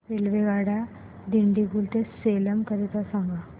रेल्वेगाड्या दिंडीगुल ते सेलम करीता सांगा